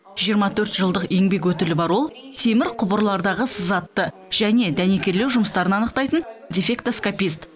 жиырма төрт жылдық еңбек өтілі бар ол темір құбырлардағы сызатты және дәнекерлеу жұмыстарын анықтайтын дефектоскопист